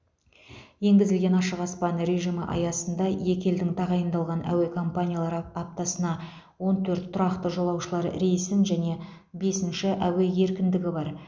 енгізілген ашық аспан режимі аясында екі елдің тағайындалған әуе компаниялары аптасына он төрт тұрақты жолаушылар рейсін және бесінші әуе еркіндігі бар